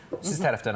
Sizin tərəfdə nə var?